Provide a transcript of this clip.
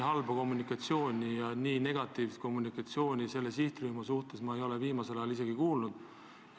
Nii negatiivset suhtumist sellesse sihtrühma ei ole enne olnud.